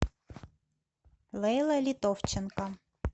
лейла литовченко